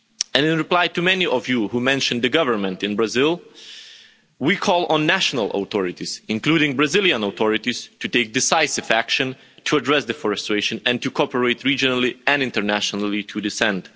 In reply to many of you who mentioned the government in Brazil, we call on national authorities, including Brazilian authorities, to take decisive action to address deforestation and to cooperate regionally and internationally to this end.